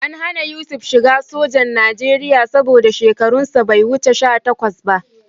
An hana Yusuf shiga sojan Najeriya saboda shekarunsa bai wuce sha takwas ba